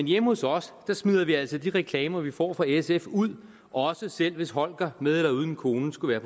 hjemme hos os smider vi altså de reklamer som vi får fra sf ud selv hvis holger med eller uden en kone skulle være